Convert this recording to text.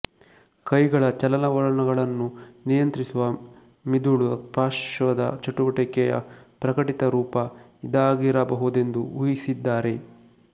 ಕೈಗಳ ಚಲನವಲನಗಳನ್ನು ನಿಯಂತ್ರಿಸುವ ಮಿದುಳ ಪಾರ್ಶ್ವದ ಚಟುವಟಿಕೆಯ ಪ್ರಕಟಿತರೂಪ ಇದಾಗಿರಬಹುದೆಂದು ಊಹಿಸಿದ್ದಾರೆ